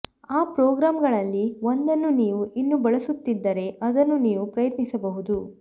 ಆ ಪ್ರೋಗ್ರಾಂಗಳಲ್ಲಿ ಒಂದನ್ನು ನೀವು ಇನ್ನೂ ಬಳಸುತ್ತಿದ್ದರೆ ಅದನ್ನು ನೀವು ಪ್ರಯತ್ನಿಸಬಹುದು